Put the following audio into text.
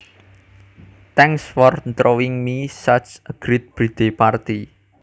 Thanks for throwing me such a great birthday party